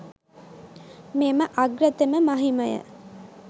මෙම අග්‍රතම මහිමය